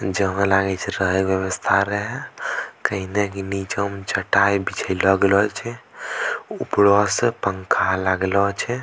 जेहवा लागे छे रहे के व्यवस्था रहे कहीं देखीं निचो म चटाय बिछाइले गेलो छे उपरो से पंखा लागलो छे।